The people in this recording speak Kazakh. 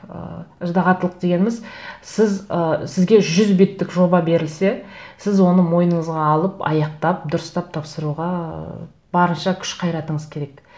ыыы ыждағаттылық дегеніміз сіз ы сізге жүз беттік жоба берілсе сіз оны мойныңызға алып аяқтап дұрыстап тапсыруға ы барынша күш қайратыңыз керек